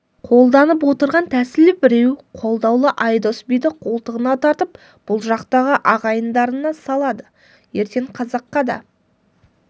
қолданып отырған тәсілі біреу қолдаулы айдос биді қолтығына тартып бұл жақтағы ағайындарына салады ертең қазаққа да